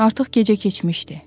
Artıq gecə keçmişdi.